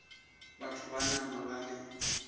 batho ba nama ba le